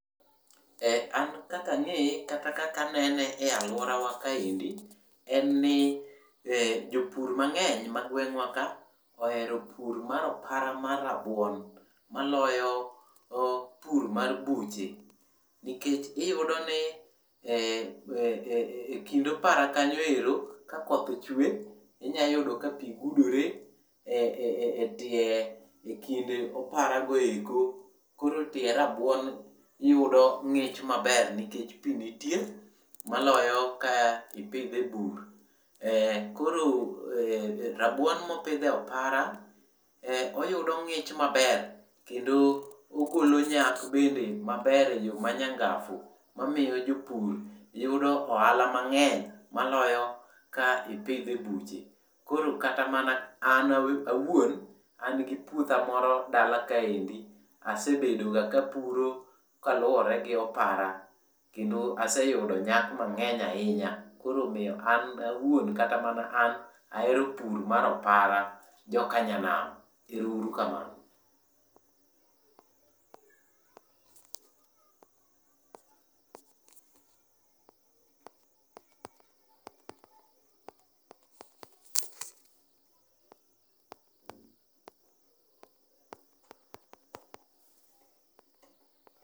An kaka ang'eye kata kaka anene e alworawa ka endi en ni jopur mang'eny ma gweng'wa ka ohero pur mar opara mar rabuon maloyo pur mar buche nikech iyudo ni, e kind opara kanyo ero kakoth ochwe tinya yudo ka pi gudore e tie,e kind opara go eko. Koro tiend rabuon yudo ng'ich maber maloyo ka. Koro rabuon mopidh e opara ,oyudo ng'ich maber kendo ogolo nyak bende maber ma nyangaf mamiyo jopur yudo ohala mang'eny maloyo ka ipidho e buche. Koro kata mana an awuon an gi puotha moro dala ka endi asebedo ga kapuro kaluore gi opara kendo aseyudo nyak mang'eny ahinya. Koro omiyo an awuon kata mana an ahero pur mar opara jokanyanam. Ero uru kamano.